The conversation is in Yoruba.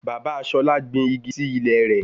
Bàbá Ṣolá gbin igi sí ilé rẹ̀